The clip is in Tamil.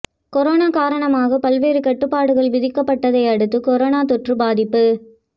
கொரோனா காரணமாக பல்வேறு கட்டுப்பாடுகள் விதிக்கப்பட்டதை அடுத்து கொரோனா தொற்று பாதிப்பு